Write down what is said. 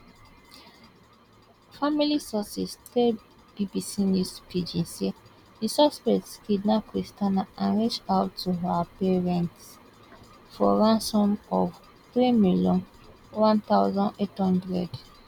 family sources tell bbc news pidgin say di suspect kidnap christianah and reach out to her parents for ransom of three million one thousand eight hundred